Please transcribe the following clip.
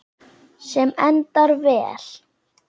Sem endar vel.